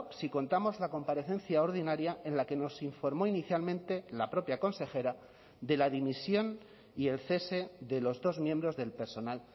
si contamos la comparecencia ordinaria en la que nos informó inicialmente la propia consejera de la dimisión y el cese de los dos miembros del personal